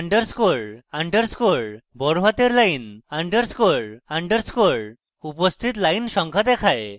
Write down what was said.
underscore underscore line সব বড়হাতে underscore underscore উপস্থিত line সংখ্যা দেখায়